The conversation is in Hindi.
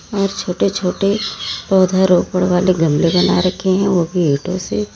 और छोटे छोटे पौधारोपण वाले गमले बना रखे हैं वो भी ईंटों से।